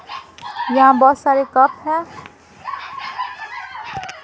यहां बहुत सारे है।